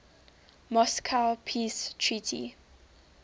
moscow peace treaty